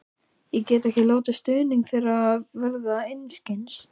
Ég get ekki látið stuðning þeirra verða til einskis.